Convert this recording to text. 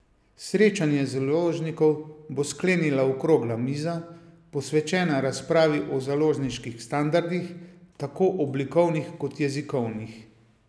Srečanje založnikov bo sklenila okrogla miza, posvečena razpravi o založniških standardih, tako oblikovnih kot jezikovnih.